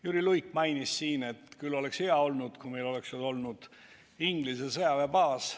Jüri Luik mainis siin, et küll oleks hea olnud, kui meil oleks siis olemas olnud Inglise sõjaväebaas.